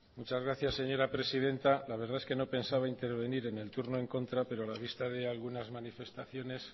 muchas gracias señora presidenta la verdad es que no pensaba intervenir en el turno en contra pero a la vista de algunas manifestaciones